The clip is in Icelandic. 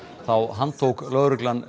þá handtók lögreglan